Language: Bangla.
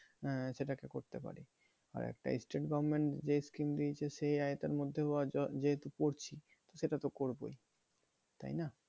আহ সেটাকে করতে পারি। আর একটা state government যেই scheme দিয়েছে সেই আওতার মধ্যেও যেহেতু পড়ছি, সেটা তো করবোই, তাইনা?